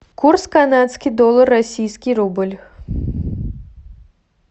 курс канадский доллар российский рубль